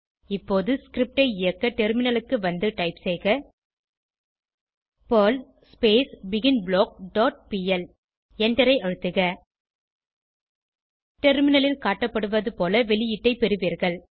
இப்போது ஸ்கிரிப்ட் ஐ இயக்க டெர்மினலுக்கு வந்து டைப் செய்க பெர்ல் பிகின்பிளாக் டாட் பிஎல் எண்டரை அழுத்துக டெர்மினலில் காட்டப்படுவது போல வெளியீட்டை பெறுவீர்கள்